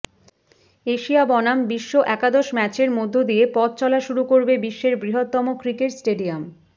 Asia বনাম বিশ্ব একাদশ ম্যাচের মধ্যে দিয়ে পথ চলা শুরু করবে বিশ্বের বৃহত্তম ক্রিকেট স্টেডিয়াম